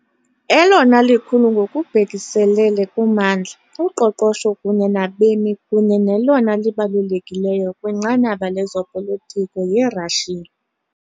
Elona likhulu ngokubhekiselele kummandla, uqoqosho kunye nabemi kunye nelona libalulekileyo kwinqanaba lezopolitiko yiRashiya .